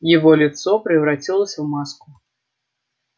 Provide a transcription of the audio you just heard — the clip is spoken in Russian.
его лицо превратилось в маску